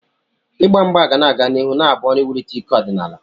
Igba mgba ga-aga n'ihu na-abụ ọrụ iwulite ike ọdịnala.